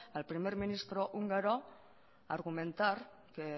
al primer ministro húngaro argumentar que